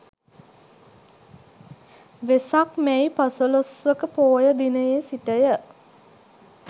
වෙසක් මැයි පසළොස්වක පෝය දිනයේ සිට ය.